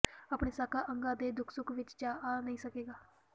ਆਪਣੇ ਸਾਕਾਂ ਅੰਗਾਂ ਦੇ ਦੁੱਖ ਸੁੱਖ ਵਿਚ ਜਾ ਆ ਨਹੀਂ ਸਕੇਗਾ